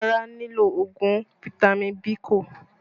Ara nílò ogun fitami Biiko